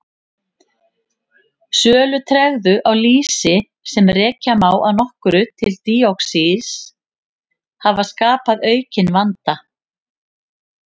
Sölutregðu á lýsi, sem rekja má að nokkru til díoxíns hafa skapað aukinn vanda.